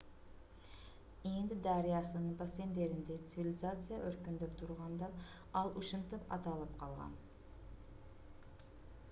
инд дарыясынын бассейндеринде цивилизация өркүндөп турганда ал ушинтип аталып калган